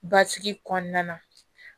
Basigi kɔnɔna na